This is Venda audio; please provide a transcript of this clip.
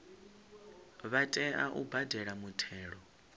vha tea u badela muthelo